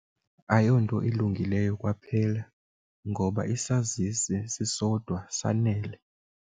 Ayonto ilungileyo kwaphela ngoba isazisi sisodwa sifanele.